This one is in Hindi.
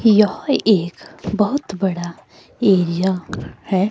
यह एक बहुत बड़ा एरिया है।